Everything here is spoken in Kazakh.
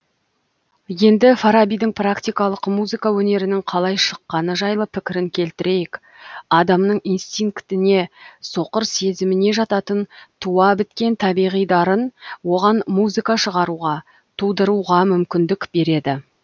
енді фарабидің практикалық музыка өнерінің қалай шыққаны жайлы пікірін келтірейік адамның инстинктіне соқыр сезіміне жататын туа біткен табиғи дарын оған музыка шығаруға тудыруға мүмкіндік береді